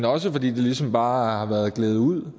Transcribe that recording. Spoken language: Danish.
også fordi det ligesom bare har været gledet ud